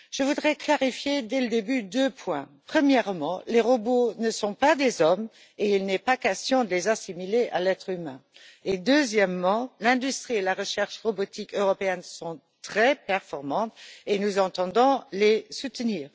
Je voudrais clarifier d'emblée deux points premièrement, les robots ne sont pas des hommes et il n'est pas question de les assimiler à l'être humain, et deuxièmement, l'industrie et la recherche robotiques européennes sont très performantes et nous entendons les soutenir.